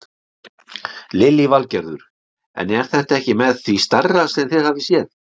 Lillý Valgerður: En er þetta ekki með því stærra sem þið hafið séð?